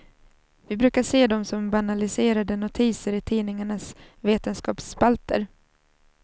Vi brukar se dem som banaliserade notiser i tidningarnas vetenskapsspalter.